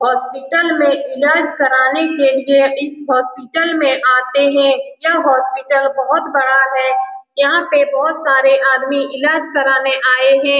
Hospital मे ईलाज करने के लिए इस हॉस्पिटल में आते हैं यह हॉस्पिटल बहुत बड़ा है यहां पे बहुत सारे आदमी ईलाज करने के लिए आए हैं।